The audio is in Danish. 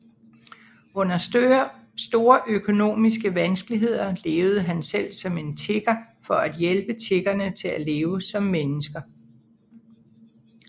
Under store økonomiske vanskeligheder levede han selv som en tigger for at hjælpe tiggerne til at leve som mennesker